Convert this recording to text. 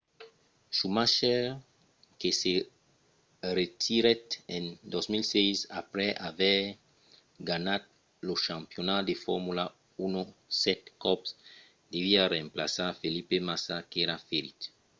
schumacher que se retirèt en 2006 aprèp aver ganhat lo campionat de formula 1 sèt còps deviá remplaçar felipe massa qu'èra ferit